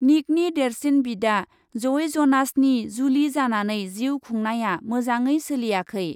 निकनि देरसिन बिदा जइ जनासनि जुलि जानानै जिउ खुंनाया मोजाङै सोलियाखै।